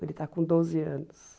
Ele está com doze anos.